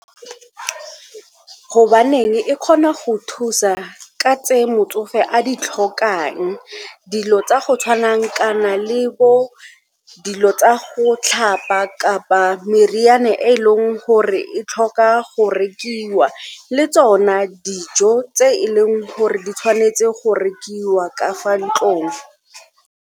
Gobaneng e kgona go thusa ka tse motsofe a di tlhokang, dilo tsa go tshwanang kana le bo dilo tsa go tlhapa kapa meriane e e leng gore e tlhoka go rekiwa le tsona dijo tse e leng gore di tshwanetse go rekiwa ka fa ntlong.